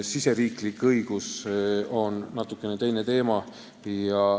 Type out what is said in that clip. Riigisisene õigus on natuke teine teema.